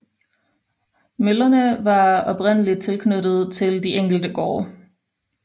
Møllerne var oprindelig knyttet til de enkelte gårde